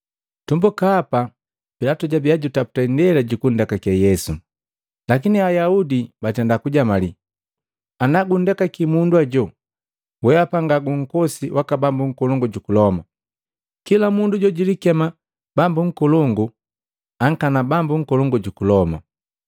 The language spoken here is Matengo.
Tumbuka hapa, Pilatu jabiya jutaputa indela jukundekake Yesu lakini Ayaudi batenda kujamali, “Ana gundekaki mundu ajo, wehapa nga gunkosi waka bambu nkolongu juku Loma, kila mundu jojilikema bambu nkolongu ankana bambu nkolongu juku Loma.”